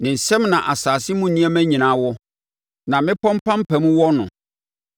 Ne nsam na asase mu nneɛma nyinaa wɔ, na mmepɔ mpampam wɔ no.